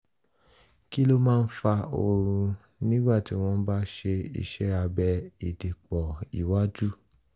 kí ló máa ń fa oorun nígbà tí wọ́n bá ṣe iṣẹ́ abẹ ìdìpọ̀ iwájú?